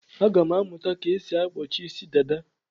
Aga m amụta ka esi akpọchi Ịsị dada.